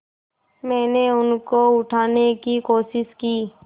मैंने उनको उठाने की कोशिश की